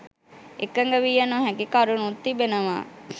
එකඟ විය නොහැකි කරුණුත් තිබෙනවා.